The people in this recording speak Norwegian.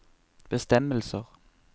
bestemmelser